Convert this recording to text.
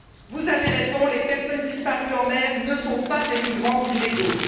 Vous avez raison, les personnes disparues en mer ne sont pas des migrants illégaux